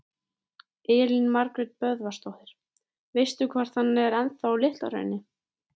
Elín Margrét Böðvarsdóttir: Veistu hvort hann er ennþá á Litla-Hrauni?